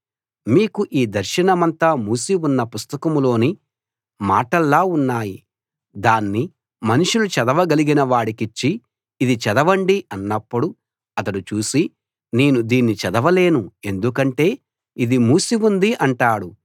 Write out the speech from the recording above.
మీకు ఈ దర్శనమంతా మూసి ఉన్న పుస్తకంలోని మాటల్లా ఉన్నాయి దాన్ని మనుషులు చదవ గలిగిన వాడికిచ్చి ఇది చదవండి అన్నప్పుడు అతడు చూసి నేను దీన్ని చదవలేను ఎందుకంటే ఇది మూసి ఉంది అంటాడు